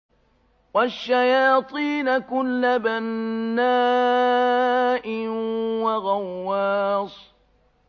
وَالشَّيَاطِينَ كُلَّ بَنَّاءٍ وَغَوَّاصٍ